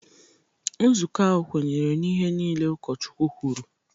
Nzukọ ahụ kwenyere na ihe niile ụkọchukwu kwuru